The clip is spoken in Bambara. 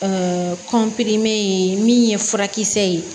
kɔnpirin min ye furakisɛ ye